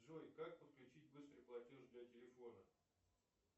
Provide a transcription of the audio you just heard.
джой как подключить быстрый платеж для телефона